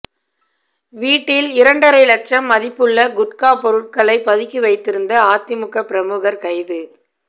வீட்டில் இரண்டரை லட்சம் மதிப்புள்ள குட்கா பொருட்களை பதுக்கி வைத்திருந்த அதிமுக பிரமுகர் கைது